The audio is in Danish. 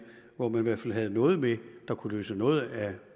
hvor man i hvert fald havde noget med der kunne løse noget af